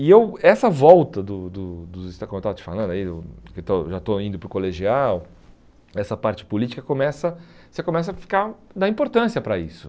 E eu essa volta, do do dos Estados Unidos como eu estava te falando aí do, já estou indo para o colegial, essa parte política, começa você começa a ficar dar importância para isso.